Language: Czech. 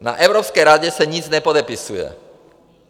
Na Evropské radě se nic nepodepisuje.